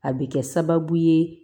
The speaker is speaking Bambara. A bɛ kɛ sababu ye